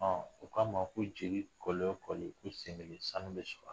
U k'a ma ko jeli kɔli o kɔli i sen sanu bɛ sɔrɔ